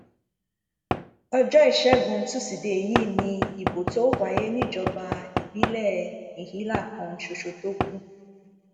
ọjọ ìṣègùn tusidee yìí ni ìbò tóo wáyé níjọba ìbílẹ ìhílà kan ṣoṣo tó kù